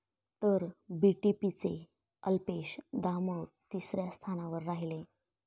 तर बीटीपीचे अल्पेश दामोर तिसऱ्या स्थानावर राहिले.